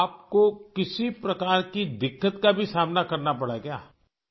آپ کو کسی قسم کی دقت کا بھی سامنا کرنا پڑا ہے کیا؟